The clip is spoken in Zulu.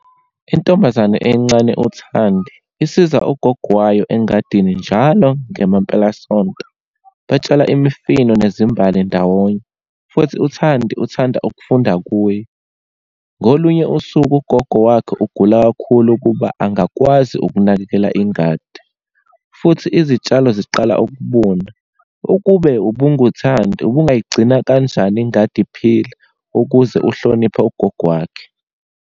Intombazane encane uThandi, isiza ugogo wayo engadini njalo ngemampelasonto. Batshala imifino nezimbali ndawonye, futhi uThandi uthanda ukufunda kuye. Ngolunye usuku, ugogo wakhe ugula kakhulu ukuba angakwazi ukunakekela ingadi, futhi izitshalo ziqala ukubuna. Ukube ubunguThandi, ubungayigcina kanjani ingadi iphila, ukuze uhloniphe ugogo wakhe?